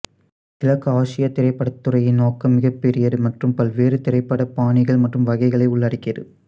கிழக்கு ஆசிய திரைப்படத்துறையின் நோக்கம் மிகப்பெரியது மற்றும் பல்வேறு திரைப்பட பாணிகள் மற்றும் வகைகளை உள்ளடக்கியது